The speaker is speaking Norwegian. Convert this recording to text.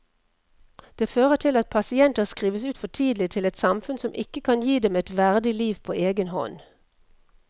Det fører til at pasienter skrives ut for tidlig til et samfunn som ikke kan gi dem et verdig liv på egen hånd.